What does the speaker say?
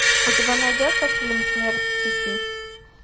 у тебя найдется фильм смерть в сети